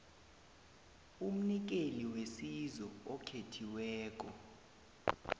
umnikeli wesizo okhethiweko